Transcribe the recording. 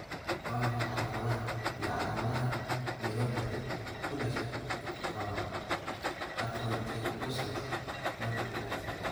Waa maxay calaamadaha iyo calaamadaha Neuropathy, ku dhasha, qaba arthrogryposis multiplex?